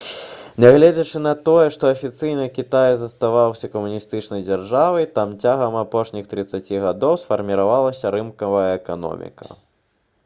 нягледзячы на тое што афіцыйна кітай заставаўся камуністычнай дзяржавай там цягам апошніх трыццаці гадоў сфарміравалася рынкавая эканоміка